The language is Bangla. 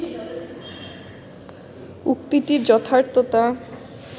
উক্তিটির যথার্থতা